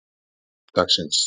fimmtudagsins